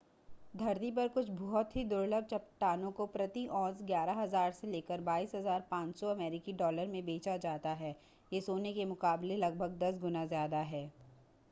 धरती पर कुछ बहुत ही दुर्लभ चट्टानों को प्रति औंस 11,000 से लेकर 22,500 अमेरिकी डॉलर में बेचा जाता है यह सोने के मुकाबले लगभग दस गुना ज़्यादा है